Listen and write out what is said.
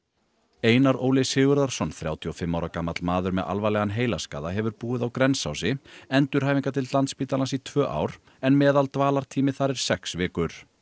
Einar Óli Sigurðarson þrjátíu og fimm ára gamall maður með alvarlegan heilaskaða hefur búið á Grensási endurhæfingardeild Landspítalans í tvö ár en meðaldvalartími þar er sex vikur